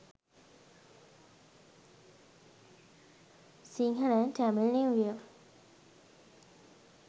sinhala and tamil new year